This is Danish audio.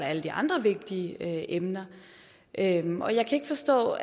alle de andre vigtige emner emner jeg kan ikke forstå